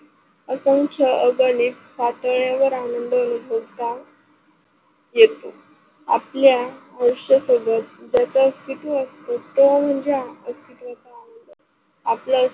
आकांश अगाने साताळेवर आनंद होता. येतो आपल्या वर्षासोबत असतो म्हणजे आपल्या